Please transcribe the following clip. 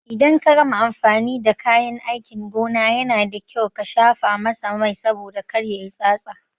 Idan ka gama amfani da kayan aikin gona, Yana da kyau ka shafa masa Mai saboda kar yayi tsatsa.